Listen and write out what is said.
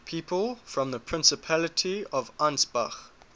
people from the principality of ansbach